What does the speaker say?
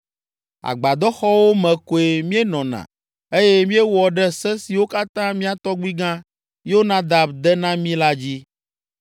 Agbadɔxɔwo me koe míenɔna eye míewɔ ɖe se siwo katã mía tɔgbuigã, Yonadab de na mí la dzi.